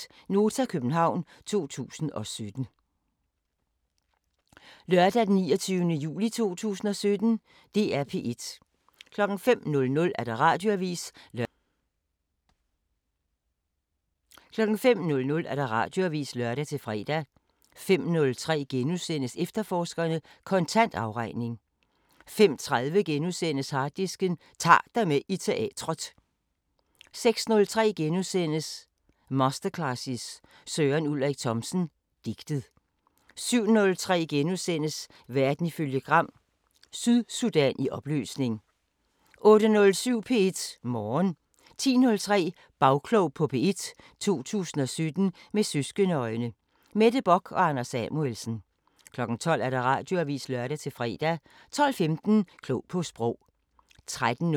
05:00: Radioavisen (lør-fre) 05:03: Efterforskerne: Kontant afregning * 05:30: Harddisken: Ta'r dig med i teatret * 06:03: Masterclasses – Søren Ulrik Thomsen: Digtet * 07:03: Verden ifølge Gram: Sydsudan i opløsning * 08:07: P1 Morgen 10:03: Bagklog på P1: 2017 med søskende-øjne: Mette Bock og Anders Samuelsen 12:00: Radioavisen (lør-fre) 12:15: Klog på Sprog 13:03: En Stasi-mands død 4:6: Den tyske veninde *